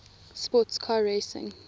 sports car racing